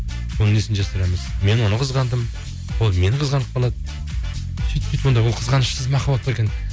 оның несін жасырамыз мен оны қызғандым ол мені қызғанып қалады сөйтіп сөйтіп онда ол қызғанышсыз махаббат па екен